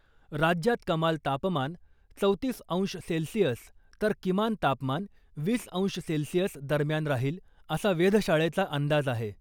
राज्यात कमाल तापमान चौतीस अंश सेल्सिअस तर किमान तापमान वीस अंश सेल्सिअस दरम्यान राहील , असा वेधशाळेचा अंदाज आहे .